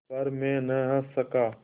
पर मैं न हँस सका